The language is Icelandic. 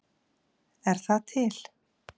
Er það til?